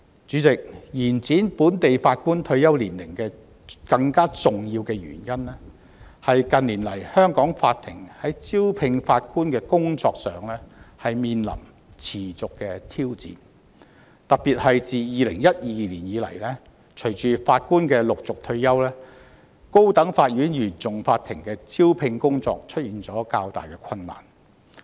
主席，延展本地法官退休年齡的更重要原因是近年來香港法庭在招聘法官的工作上面臨持續的挑戰，特別是自2012年以來，隨着法官陸續退休，高等法院原訟法庭的招聘工作出現較大困難。